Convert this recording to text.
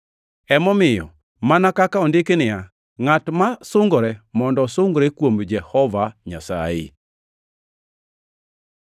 Emomiyo, mana kaka ondiki niya, “Ngʼat ma sungore mondo osungre kuom Jehova Nyasaye.” + 1:31 \+xt Jer 9:24\+xt*